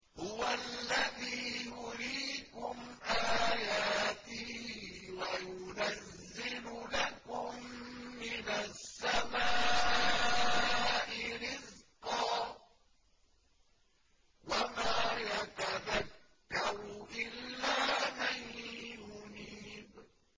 هُوَ الَّذِي يُرِيكُمْ آيَاتِهِ وَيُنَزِّلُ لَكُم مِّنَ السَّمَاءِ رِزْقًا ۚ وَمَا يَتَذَكَّرُ إِلَّا مَن يُنِيبُ